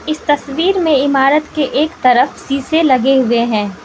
इस तस्वीर में इमारत के एक तरफ शीशे लगे हुए हैं।